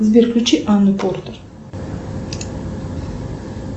сбер включи анну портер